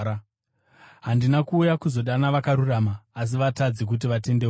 Handina kuuya kuzodana vakarurama, asi vatadzi kuti vatendeuke.”